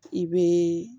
I bɛ